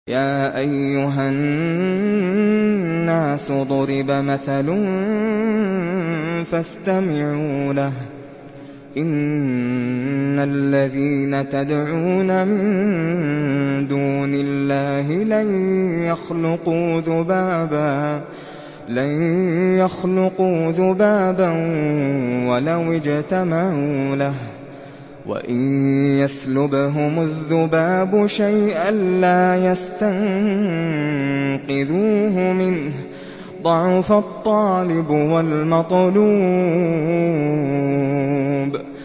يَا أَيُّهَا النَّاسُ ضُرِبَ مَثَلٌ فَاسْتَمِعُوا لَهُ ۚ إِنَّ الَّذِينَ تَدْعُونَ مِن دُونِ اللَّهِ لَن يَخْلُقُوا ذُبَابًا وَلَوِ اجْتَمَعُوا لَهُ ۖ وَإِن يَسْلُبْهُمُ الذُّبَابُ شَيْئًا لَّا يَسْتَنقِذُوهُ مِنْهُ ۚ ضَعُفَ الطَّالِبُ وَالْمَطْلُوبُ